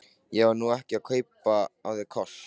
Ég var nú ekki að kaupa af þér kossa.